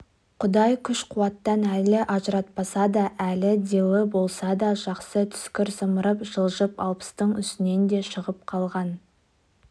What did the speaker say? құдай күш-қуаттан әлі ажыратпаса да әлі дилы болса да жасы түскір зымырап жылжып алпыстың үстіне де шығып қалған